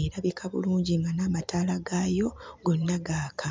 erabika bulungi nga n'amataala gaayo gonna gaaka.